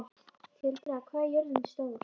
Tildra, hvað er jörðin stór?